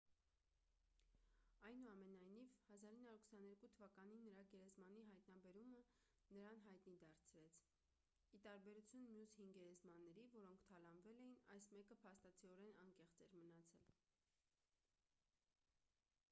այնուամենայնիվ 1922 թ նրա գերեզմանի հայտնաբերումը նրան հայտնի դարձրեց ի տարբերություն մյուս հին գերեզմանների որոնք թալանվել էին այս մեկը փաստացիորեն անեղծ էր մնացել